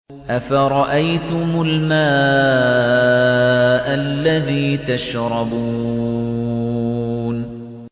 أَفَرَأَيْتُمُ الْمَاءَ الَّذِي تَشْرَبُونَ